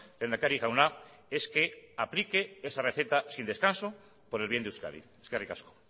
lehendakari jauna es que aplique esa receta sin descanso por el bien de euskadi eskerrik asko